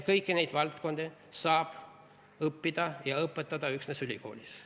Kõiki neid valdkondi saab õppida ja õpetada üksnes ülikoolis.